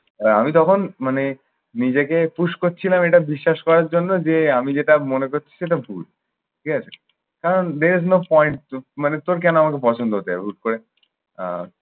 আহ আমি তখন মানে নিজেকে push করছিলাম এটা বিশ্বাস করার জন্য যে আমি যেটা মনে করছি সেটা ভুল। ঠিক আছে? কারণ there is no point মানে তোর কেন আমাকে পছন্দ হতে হবে হুট করে। আহ